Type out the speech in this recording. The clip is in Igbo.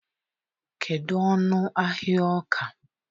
kedu ọnụ ahịa ọka?